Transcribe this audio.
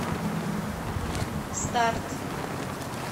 старт